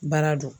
Baara don